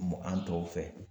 Mɔ an tɔw fɛ